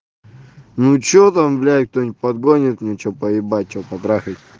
ну и что там блять кто-нибудь подгонит мне что поебать что по трахать